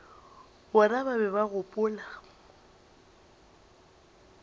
bona ba be ba gopola